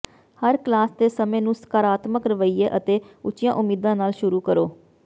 ਹਰ class ਦੇ ਸਮੇਂ ਨੂੰ ਸਕਾਰਾਤਮਕ ਰਵੱਈਏ ਅਤੇ ਉੱਚੀਆਂ ਉਮੀਦਾਂ ਨਾਲ ਸ਼ੁਰੂ ਕਰੋ